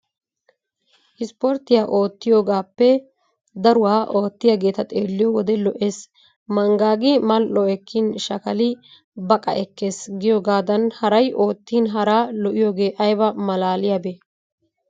Ispporttiya oottiyogaappe daruwa oottiyageeta xeelliyo wode lo"ees. Manggaagi mal"o ekkin shakili baqa ekkees giyogaadan haray oottin haraa lo"iyogee ayba maalaaliyabee?